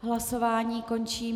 Hlasování končím.